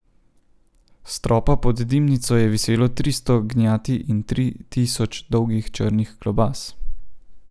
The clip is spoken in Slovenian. S stropa pod dimnico je viselo tristo gnjati in tri tisoč dolgih črnih klobas.